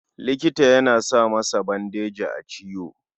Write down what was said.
Likita yana sa masa bandeji a ciwo.